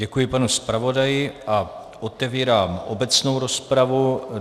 Děkuji panu zpravodaji a otevírám obecnou rozpravu.